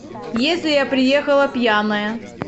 если я приехала пьяная